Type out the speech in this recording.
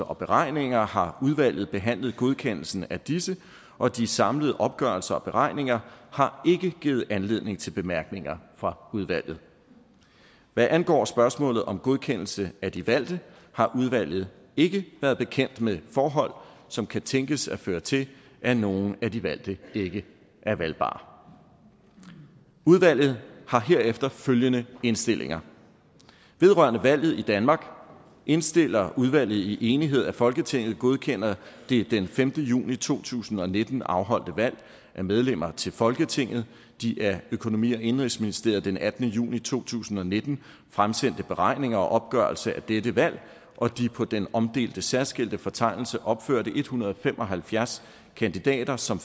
og beregninger har udvalget behandlet godkendelsen af disse og de samlede opgørelser og beregninger har givet anledning til bemærkninger fra udvalget hvad angår spørgsmålet om godkendelse af de valgte har udvalget ikke været bekendt med forhold som kan tænkes at føre til at nogen af de valgte ikke er valgbare udvalget har herefter følgende indstillinger vedrørende valget i danmark indstiller udvalget i enighed at folketinget godkender det den femte juni to tusind og nitten afholdte valg af medlemmer til folketinget de af økonomi og indenrigsministeriet den attende juni to tusind og nitten fremsendte beregninger og opgørelse af dette valg og de på den omdelte særskilte fortegnelse opførte en hundrede og fem og halvfjerds kandidater som